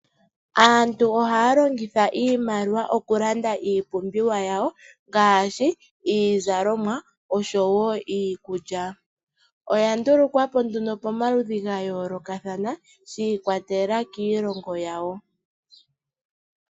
Aantu ohaya longitha iimaliwa okulanda iipumbiwa yawo ngaashi iizalomwa osho woo iikulya oya ndulukwapo nduno pomaludhi gayoolokathana shi ikwatelela kiilongo yawo.